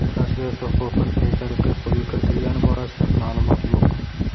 Translyatsiya huquqi qay tariqa qo‘lga kiritilgani borasida ma’lumot yo‘q.